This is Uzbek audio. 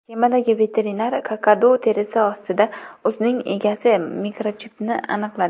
Kemadagi veterinar kakadu terisi ostida uning egasi mikrochipini aniqladi.